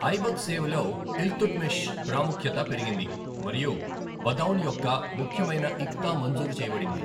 ఐబక్ సేవలో ఇల్తుట్మిష్ ప్రాముఖ్యత పెరిగింది మరియు బదౌన్ యొక్క ముఖ్యమైన ఇక్తా మంజూరు చేయబడింది.